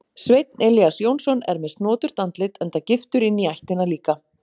Sveinn Elías Jónsson er með snoturt andlit enda giftur inní ættina líka.